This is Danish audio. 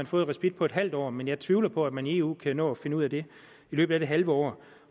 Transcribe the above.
fået respit på et halvt år men jeg tvivler på at man i eu kan nå at finde ud af det i løbet af det halve år